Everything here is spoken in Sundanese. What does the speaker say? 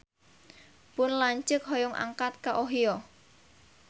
Pun lanceuk hoyong angkat ka Ohio